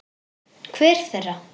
Hver þeirra?